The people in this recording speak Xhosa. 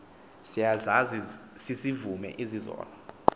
siyazazi sizivume izono